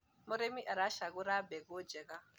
mũrĩmi aracagura mbegũ njega